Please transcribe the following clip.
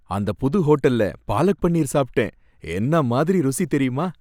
அந்தப் புது ஹோட்டல்ல பாலக் பனீர் சாப்பிட்டேன், என்ன மாதிரி ருசி தெரியுமா!